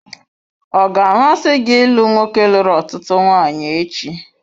Ọ ga-amasị gị ịlụ nwoke lụrụ ọtụtụ nwanyị echi?